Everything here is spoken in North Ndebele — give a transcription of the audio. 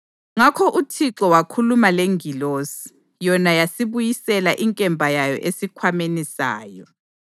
Ngakho uThixo wakhuluma lengilosi, yona yasibuyisela inkemba yayo esikhwameni sayo.